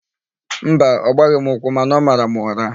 Mba, ọ gbaghị m ụkwụ mana ọ mara m ụra.